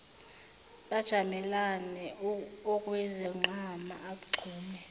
bajamelane okwezinqama agxume